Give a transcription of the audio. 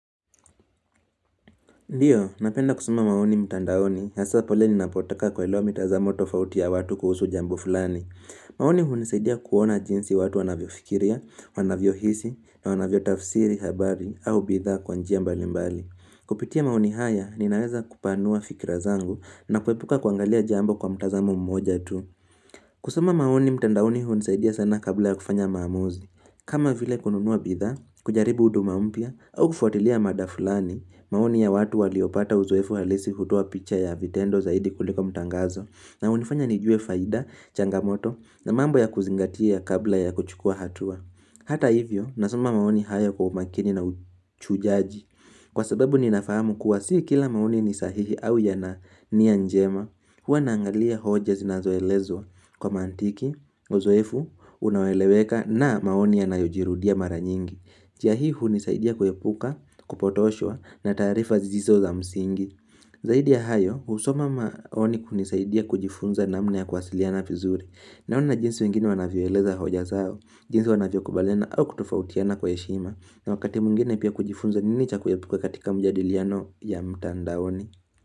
Ndiyo, napenda kusoma maoni mtandaoni, haswa pale ninapotaka kuelewa mitazamo tofauti ya watu kuhusu jambo fulani. Maoni hunisaidia kuona jinsi watu wanavyo fikiria, wanavyo hisi, wanavyo tafsiri, habari, au bidha kwa njia mbali mbali. Kupitia maoni haya, ninaweza kupanua fikira zangu na kuepuka kuangalia jambo kwa mtazamo mmoja tu. Kusoma maoni mtandaoni hunisaidia sana kabla ya kufanya maamuzi. Kama vile kununuwa bidha, kujaribu huduma mpya, au kufuatilia mada fulani, maoni ya watu waliopata uzoefu halisi kutua picha ya vitendo zaidi kuliko mutangazo, na unifanya nijue faida, changamoto, na mambo ya kuzingatia kabla ya kuchukua hatua. Hata hivyo, nasoma maoni haya kwa umakini na uchujaji. Kwa sababu ninafahamu kuwa si kila maoni ni sahihi au ya na nia njema. Huwa naangalia hoja zinazoelezwa kwa mantiki, uzoefu, unaweleweka na maoni yanayojirudia mara nyingi. Njia hii hunisaidia kuepuka, kupotoshwa na tarifa zisizo za msingi. Zaidi ya hayo, husoma maoni kunisaidia kujifunza namna ya kuwasiliana vizuri. Naona jinsi wengine wanavyoeleza hoja zao, jinsi wanavyo kubaliana au kutofautiana kwa heshima na wakati mwngine pia kujifunza nini cha kuepuka katika mjadiliano ya mtandaoni.